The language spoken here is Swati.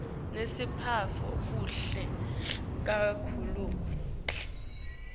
nesiphetfo kuhle kakhulu